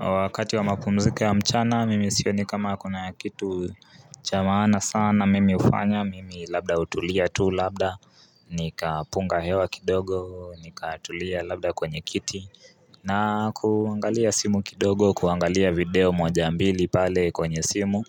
Wakati wa mapumziko ya mchana, mimi sioni kama kuna kitu cha maana sana mimi hufanya, mimi labda hutulia tu labda nikapunga hewa kidogo nikatulia labda kwenye kiti na kuangalia simu kidogo kuangalia video moja mbili pale kwenye simu